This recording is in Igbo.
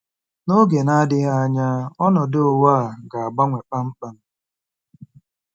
N'oge na-adịghị anya ọnọdụ ụwa a ga-agbanwe kpamkpam.